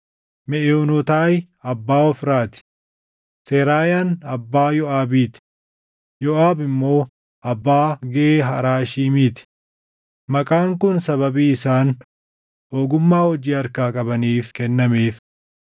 Meʼoonotaayi abbaa Ofraa ti. Seraayaan abbaa Yooʼaabii ti; Yooʼaab immoo abbaa Gee Haraashiimii ti. Maqaan kun sababii isaan ogummaa hojii harkaa qabaniif kennameef.